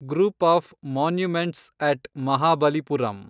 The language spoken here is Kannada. group of monuments at Mahabalipuram